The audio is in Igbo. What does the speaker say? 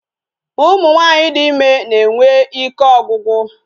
Ụmụ nwaanyị dị ịme na-enwe ike ọgwụgwụ